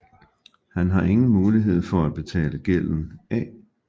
Han har ingen muligheder for at betale gælden af